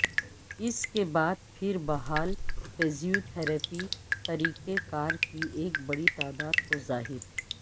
اس کے بعد پھر بحال فزیوتھراپی طریقہ کار کی ایک بڑی تعداد کو ظاہر